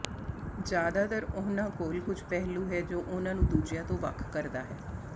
ਜ਼ਿਆਦਾਤਰ ਉਨ੍ਹਾਂ ਕੋਲ ਕੁਝ ਪਹਿਲੂ ਹੈ ਜੋ ਉਹਨਾਂ ਨੂੰ ਦੂਜਿਆਂ ਤੋਂ ਵੱਖ ਕਰਦਾ ਹੈ